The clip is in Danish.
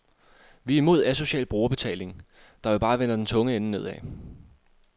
Vi er imod asocial brugerbetaling, der jo bare vender den tunge ende nedad.